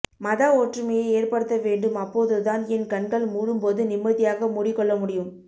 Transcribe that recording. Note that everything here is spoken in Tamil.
மத ஒற்றுமையை ஏற்படுத்தவேண்டும் அப்போது தான் என் கண்கள் மூடும்போது நிம்மதியாக மூடிக்கொள்ளமுடியும்